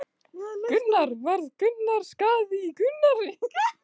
Höskuldur: Varð einhver skaði í óhappinu?